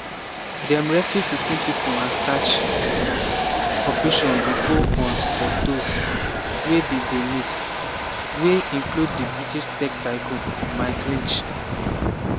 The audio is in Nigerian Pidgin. dem rescue fifteen pipo and search operation bin go on for dose wey bin dey miss - wey include di british tech tycoon mike lynch.